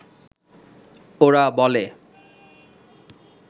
ওরা বলে